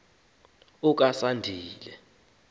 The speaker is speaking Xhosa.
okasandile